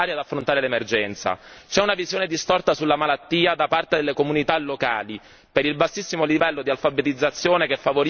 C'è una visione distorta sulla malattia da parte delle comunità locali per il bassissimo livello di alfabetizzazione che favorisce la propagazione del virus.